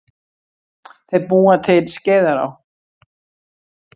Þeir búa til Skeiðará.